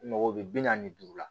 Mɔgɔ bɛ bi naani ni duuru la